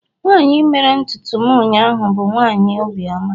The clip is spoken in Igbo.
nwanyi mere ntutu m ụnyahụ bu nwanyi obi oma